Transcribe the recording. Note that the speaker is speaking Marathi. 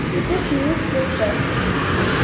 लेटेस्ट न्यूज प्ले कर